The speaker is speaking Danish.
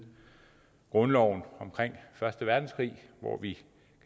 grundloven omkring første verdenskrig hvor vi